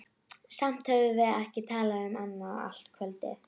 Samt höfðum við ekki talað um annað allt kvöldið.